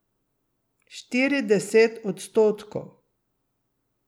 Štirideset odstotkov!